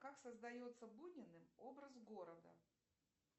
как создается буниным образ города